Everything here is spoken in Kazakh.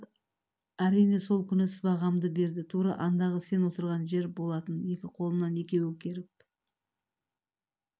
олар әрине сол күні сыбағамды берді тура андағы сен отырған жер болатын екі қолымнан екеуі керіп